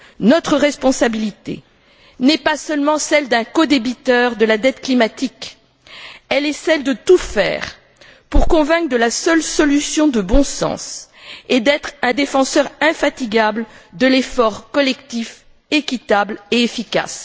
Notre responsabilité n'est pas seulement celle d'un codébiteur de la dette climatique, elle est celle de tout faire pour convaincre de la seule solution de bon sens et être un défenseur infatigable de l'effort collectif équitable et efficace.